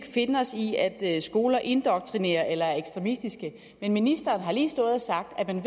finde os i at skoler indoktrinerer eller er ekstremistiske men ministeren har lige stået og sagt at man